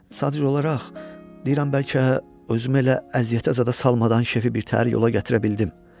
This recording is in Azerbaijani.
Sadəcə olaraq deyirəm bəlkə özümü elə əziyyətə zada salmadan şefi birtəhər yola gətirə bildim.